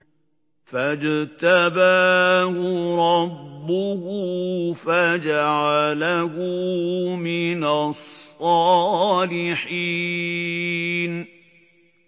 فَاجْتَبَاهُ رَبُّهُ فَجَعَلَهُ مِنَ الصَّالِحِينَ